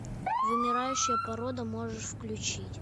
вымирающая порода можешь включить